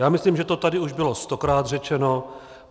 Já myslím, že už to tady bylo stokrát řečeno.